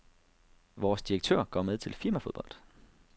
Vores direktør går med til firmafodbold.